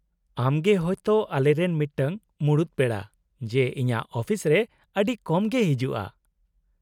ᱟᱢ ᱜᱮ ᱦᱳᱭ ᱛᱚ ᱟᱞᱮᱨᱮᱱ ᱢᱤᱫᱴᱟᱝ ᱥᱩᱢᱩᱝ ᱢᱩᱲᱩᱛ ᱯᱮᱲᱟ ᱡᱮ ᱤᱧᱟᱹᱜ ᱟᱹᱯᱤᱥᱨᱮ ᱟᱹᱰᱤ ᱠᱚᱢ ᱜᱮᱭ ᱦᱤᱡᱩᱜᱼᱟ ᱾